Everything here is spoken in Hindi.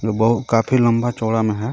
काफी लम्बा चौड़ा में है.